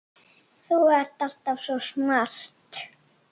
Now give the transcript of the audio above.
Þú ert alltaf svo smart.